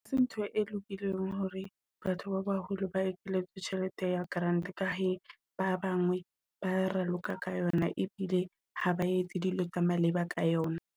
Hase ntho e lokileng hore batho ba baholo ba ekeletse tjhelete ya grant ka he ba bangwe ba raloka ka yona ebile ha ba etse dilo tsa maleba ka yona.